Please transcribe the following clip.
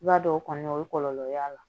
I b'a dɔn o kɔni o ye kɔlɔlɔ y'a la